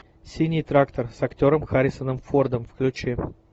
синий трактор с актером харрисоном фордом включи